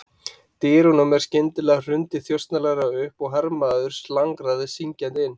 Dyrunum var skyndilega hrundið þjösnalega upp og hermaður slangraði syngjandi inn.